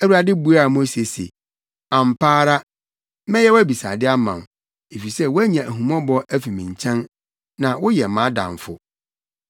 Awurade buaa Mose se, “Ampa ara, mɛyɛ wʼabisade ama wo, efisɛ woanya ahummɔbɔ afi me nkyɛn na woyɛ mʼadamfo.”